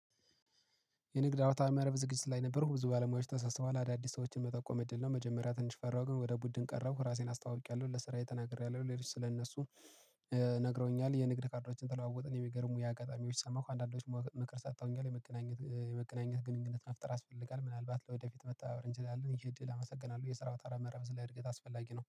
የንግድ አውታር መረብ ዝግጅት ላይ ነበርኩ ብዙ ባለሙያዎች ተሰስበዋል አዳዲስ ሰዎችን መጠቆም እድል ነው። መጀመሪያ ትንሽ ፈራሁ ግን ወደ ቡድን ቀረብኩ ራሴን አስታውቂያለሁ ለስራዬ ተናግሬያለሁ ለሪስ ስለእነሱ። ነግረውኛል የንግድ ካርዶችን ተለዋወጥን የሚገርሙ ያ አጋጣሚዎች ሰማሁ። አንዳንዶች ምክር ሰተውኛል የመገናኘት የመገናኘት ግንኙነት መፍጠር ያስፈልጋል ምናልባት ለወደፊት መተባበር እንችላለን። ይሄ እድል አመሰግናለሁ የስራው ተራ መረብ ላይ እድገት አስፈላጊ ነው